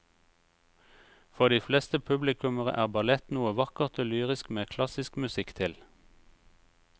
For de fleste publikummere er ballett noe vakkert og lyrisk med klassisk musikk til.